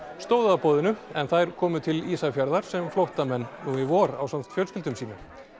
stóðu að boðinu en þær komu til Ísafjarðar sem flóttamenn nú í vor ásamt fjölskyldum sínum